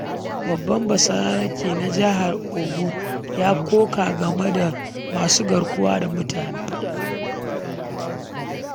Babban Basarake a Jihar Ogun ya koka game da masu garkuwa da mutane.